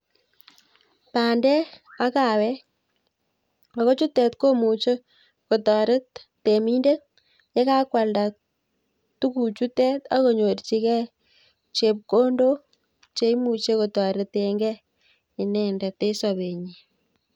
Bandek ak kaawek, ako chutet komuche kotoret temindeet, ye kakwaldaa tuguchutet ak konyorchigei chepkondok cheimuche kotoreten gee inendet en sobenyiin